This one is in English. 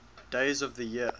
days of the year